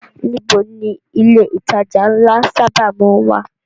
Níbo ni ilé ìtajà ńlá sábà má ń wà?